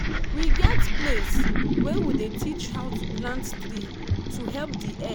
we get place wey we dey teach how to plant tree to help the earth.